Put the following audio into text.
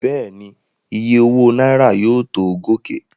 Bẹ́ẹ̀ni, Iye owó náírà yóò tó gòkè.